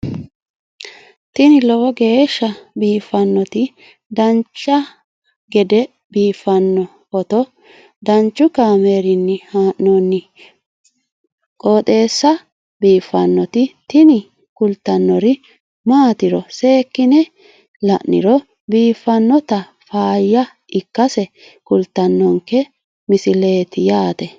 tini lowo geeshsha biiffannoti dancha gede biiffanno footo danchu kaameerinni haa'noonniti qooxeessa biiffannoti tini kultannori maatiro seekkine la'niro biiffannota faayya ikkase kultannoke misileeti yaate